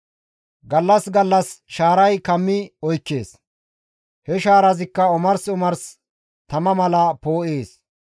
Gallas gallas shaaray kammi oykkees; he shaarazikka omars omars tama mala poo7ees.